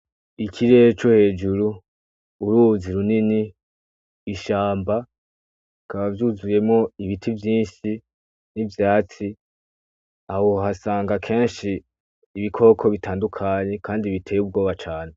Ikirere co hejuru ,uruzi runini, ishamba rikaba ryuzuyemwo ibiti vyishi n'ivyatsi aho wohasanga keshi ibikoko bitandukanye kandi biteye ubwoba cane.